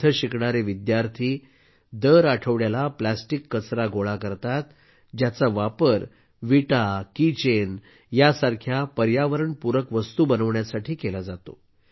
येथे शिकणारे विद्यार्थी दर आठवड्याला प्लॅस्टिक कचरा गोळा करतात ज्याचा वापर विटा आणि किचेन यांसारख्या पर्यावरणपूरक वस्तू बनवण्यासाठी केला जातो